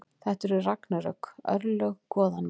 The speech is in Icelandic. Þetta eru ragnarök, örlög goðanna.